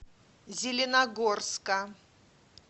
зеленогорска